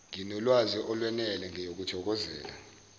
nginolwazi olwenele ngiyokuthokozela